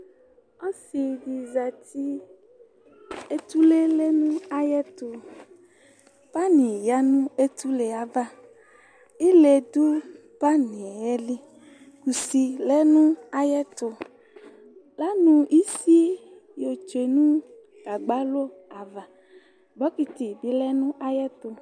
Ɔsidi zati etule lɛ nayɛtu Pani du etule ayava ile du pani yɛli Kusi lɛ nu ayetu Lanu isi yotsue nu agbalo ava Kusi bilɛ nayetu